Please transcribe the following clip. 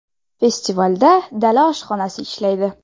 Festivalda dala oshxonasi ishlaydi.